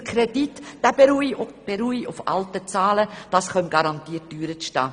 Der Kredite beruhe auf alten Zahlen, dies komme garantiert teurer zu stehen.